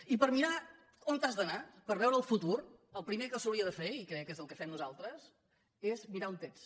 i per mirar on has d’anar per veure el futur el primer que s’hauria de fer i crec que és el que fem nosaltres és mirar on ets